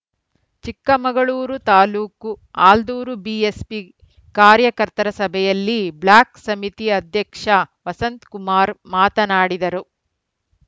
Chikkamagaluru taluk Aldur BSP ಕಾರ್ಯಕರ್ತರ ಸಭೆಯಲ್ಲಿ block ಸಮಿತಿ ಅಧ್ಯಕ್ಷ ವಸಂತಕುಮಾರ್‌ ಮಾತನಾಡಿದರು